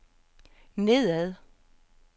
nedad